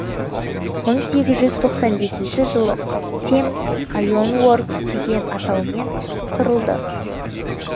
мың сегіз жүз тоқсан бесінші жылы темз айонуоркс деген атаумен құрылды